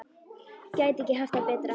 Gæti ekki haft það betra.